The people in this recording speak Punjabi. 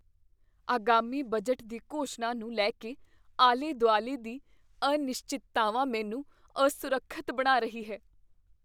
ਆਗਾਮੀ ਬਜਟ ਦੀ ਘੋਸ਼ਣਾ ਨੂੰ ਲੈ ਕੇ ਆਲੇ ਦੁਆਲੇ ਦੀ ਅਨਿਸ਼ਚਿਤ ਮੈਨੂੰ ਅਸੁਰੱਖਿਅਤ ਬਣਾ ਰਹੀ ਹੈ।